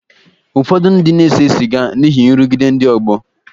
Ụfọdụ ndị na-ese sịga n’ihi nrụgide ndị ọgbọ.